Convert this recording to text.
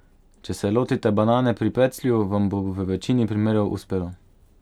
Če se lotite banane pri peclju, vam bo v večini primerov uspelo.